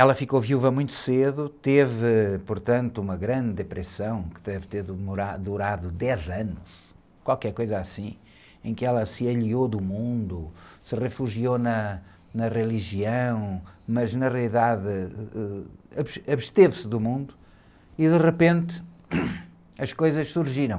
Ela ficou viúva muito cedo, teve, portanto, uma grande depressão que deve ter, durado dez anos, qualquer coisa assim, em que ela se alheou do mundo, se refugiou na, na religião, mas na realidade, ãh, absteve-se do mundo e de repente as coisas surgiram.